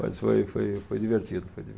Mas foi, foi, foi divertido. Foi